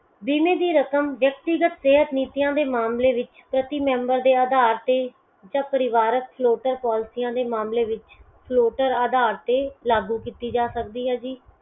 ਬੀਮੇ ਦੀ ਰਕਮ ਵਿਅਕਤੀਗਤ ਸਿਹਤ ਨੀਤੀਆਂ ਦੇ ਮਾਮਲੇ ਦੇ ਵਿੱਚ ਪ੍ਰਤੀ member ਦੇ ਅਧਾਰ ਤੇ ਜਾ ਪਰਿਵਾਰਕ floater policies ਦੇ ਮਾਮਲੇ ਵਿੱਚ floater ਅਧਾਰ ਤੇ ਲਾਗੂ ਕੀਤੀ ਜਾ ਸਕਦੀ ਹੈ ਜੀ